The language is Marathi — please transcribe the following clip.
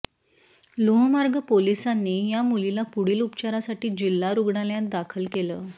लोहमार्ग पोलिसांनी या मुलीला पुढील उपचारासाठी जिल्हा रुग्णालयात दाखल केलं